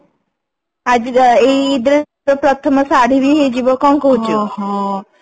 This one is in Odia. ଆଜିର ଏଇ dress ର ପ୍ରଥମ ଶାଢ଼ୀ ବି ହେଇଯିବ କଣ କହୁଛୁ